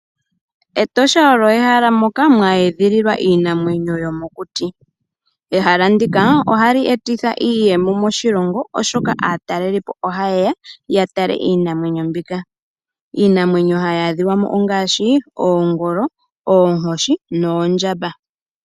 Etosha olyo ehala ndoka mwa edhililwa Iinamwenyo yomokuti, ehala ndika ohali etitha iiyemo moshilongo oshoka atalelipo sho hayeya yatale Iinamwenyo mbika, Iinamwenyo hayadhikamo ongashi, Ogoolo, Ookoshi Noondjamba.